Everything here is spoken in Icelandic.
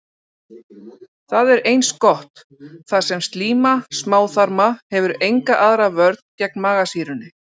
Það er eins gott, þar sem slíma smáþarma hefur enga aðra vörn gegn magasýrunni.